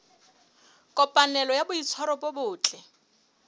kopanelo ya boitshwaro bo botle